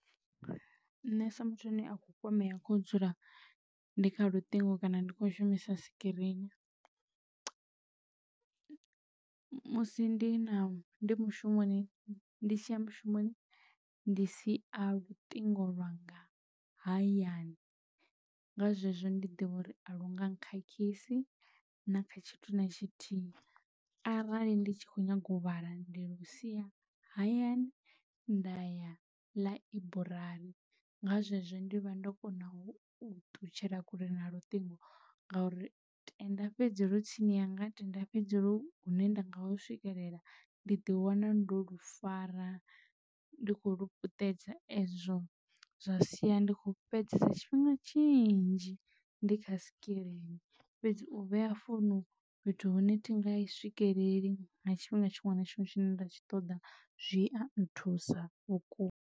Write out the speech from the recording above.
Nṋe sa muthu ane a kho kwamea kho dzula ndi kha luṱingo kana ndi kho shumisa sikirini musi ndi na ndi mushumoni ndi tshiya mushumoni ndi sia luṱingo lwanga hayani nga zwezwo ndi ḓivha uri a lunga n khakhisi na kha tshithu na tshithihi arali ndi tshi kho nyaga u vhala ndi lusia hayani nda ya ḽaiburari. Nga zwezwo ndi vha ndo kona u ṱutshela kule na luṱingo ngauri tenda fhedzi lwu tsini yanga tenda fhedzi lwu hune nda nga hu swikelela ndi ḓi wana ndo lu fara ndi kho lu putedza ezwo zwa sia ndi kho fhedzesa tshifhinga tshinzhi ndi kha sikirini fhedzi u vhea founu fhethu hune thi nga i swikelela nga tshifhinga tshiṅwe na tshiṅwe tshine nda tshi ṱoḓa zwi a nthusa vhukuma.